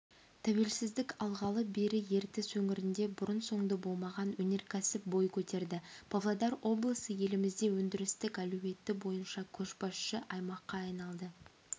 тәуелсіздік алғалы бері ертіс өңірінде бұрын-соңды болмаған өнеркәсіптер бой көтерді павлодар облысы елімізде өндірістік әлеуеті бойынша көшбасшы аймаққа айналды